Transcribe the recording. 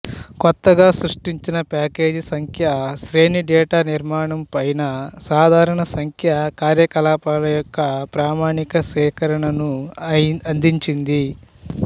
కొత్తగా సృష్టించిన ప్యాకేజీ సంఖ్యా శ్రేణి డేటా నిర్మాణం పైన సాధారణ సంఖ్యా కార్యకలాపాల యొక్క ప్రామాణిక సేకరణను అందించింది